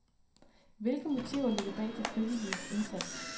Hvilke motiver ligger bag de frivilliges indsats?